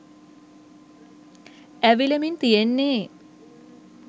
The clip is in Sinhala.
ඇවිලෙමින් තියෙන්නෙ